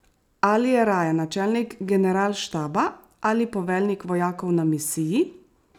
Ali je raje načelnik generalštaba ali poveljnik vojakov na misiji?